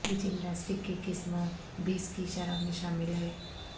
یہ جمناسٹک کی قسم بیس کی شرح میں شامل ہے